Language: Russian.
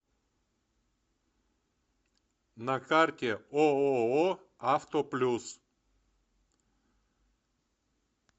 на карте ооо авто плюс